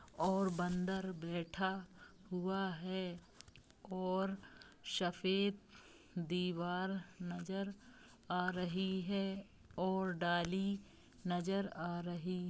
और बंदर बैठा हुआ है और सफेद दीवार नजर आ रही है और डाली नजर आ रही--